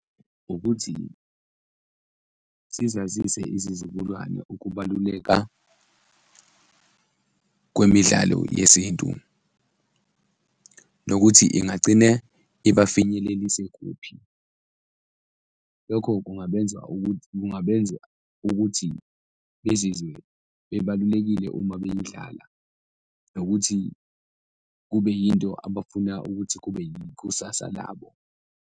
Ukuthi sizazise izizukulwane ukubaluleka kwemidlalo yesintu nokuthi ingagcine iba finyelelise kuphi. Lokho kungabenza ukuthi, kungabenza ukuthi bezizwe bebalulekile uma beyidlala nokuthi kube yinto abafuna ukuthi kube ikusasa labo.